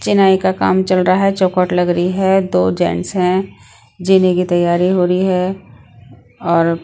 चिनाई का काम चल रहा है चौकट लग रही है दो जेंट्स हैं जीने की तैयारी हो रही है और--